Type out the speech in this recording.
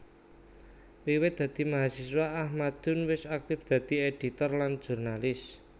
Wiwit dadi mahasiswa Ahmadun wis aktif dadi éditor lan jurnalis